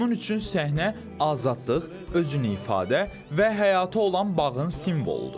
Onun üçün səhnə azadlıq, özünü ifadə və həyata olan bağın simvoludur.